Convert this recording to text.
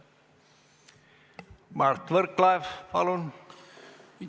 Mart Võrklaev, palun!